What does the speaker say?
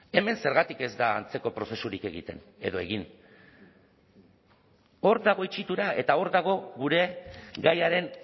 hemen zergatik ez da antzeko prozesurik egiten edo egin hor dago itxitura eta hor dago gure gaiaren